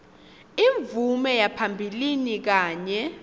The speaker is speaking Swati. imvume yaphambilini kanye